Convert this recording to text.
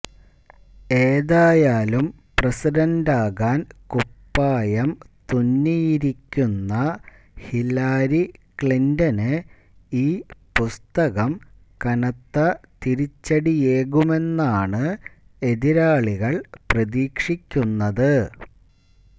ഏതായാലും പ്രസിഡന്റാകാൻ കുപ്പായം തുന്നിയിരിക്കുന്ന ഹില്ലാരി ക്ലിന്റന് ഈ പുസ്തകം കനത്ത തിരിച്ചടിയേകുമെന്നാണ് എതിരാളികൾ പ്രതീക്ഷിക്കുന്നത്